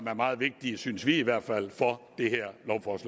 er meget vigtige synes vi i hvert fald for